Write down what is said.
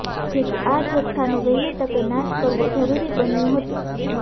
જેથી આ જથ્થાનો વહેલી તકે નાશ કરવો જરૂરી બન્યુ હતું